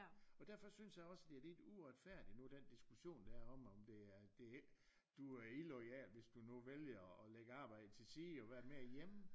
Og derfor synes jeg også det er lidt uretfærdig nu den diskussion der er om om det er du er illoyal hvis du nu vælger og lægge arbejde til side og være mere hjemme